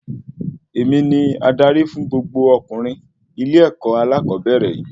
Èmi ní adarí fún gbogbo ọkunrin ilé-èkó alakobere yìí